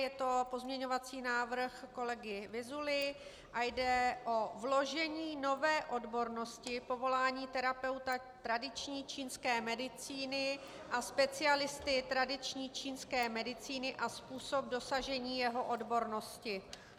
Je to pozměňovací návrh kolegy Vyzuly a jde o vložení nové odbornosti povolání terapeuta tradiční čínské medicíny a specialisty tradiční čínské medicíny a způsob dosažení jeho odbornosti.